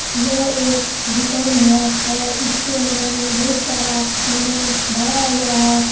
यह एक दूकान है और इसके अंदर में बहुत सारा सामान भरा हुआ है।